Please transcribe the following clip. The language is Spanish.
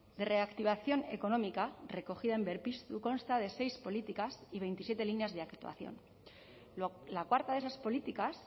de reactivación económica recogida en berpiztu consta de seis políticas y veintisiete líneas de actuación la cuarta de esas políticas